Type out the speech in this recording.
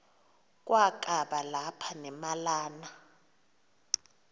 kwakaba lapha nemalana